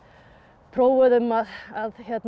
prófuðum að að